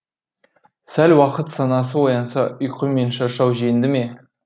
сәл уақыт санасы оянса ұйқы мен шаршау жеңді ме